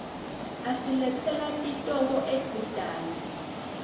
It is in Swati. asiletsela titoko edvutane